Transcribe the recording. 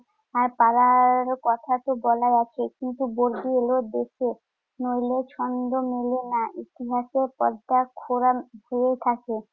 আর তারার কথাতো বলাই আছে, কিন্ত বর্গি এলো দেশে। নইলে ছন্দ মিলে না। ইতিহাসের পর্দা খোড়া হয়েই থাকে।